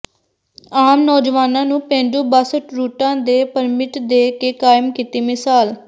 ਆਮ ਨੌਜਵਾਨਾਂ ਨੂੰ ਪੇਂਡੂ ਬੱਸ ਰੂਟਾਂ ਦੇ ਪਰਮਿਟ ਦੇ ਕੇ ਕਾਇਮ ਕੀਤੀ ਮਿਸਾਲ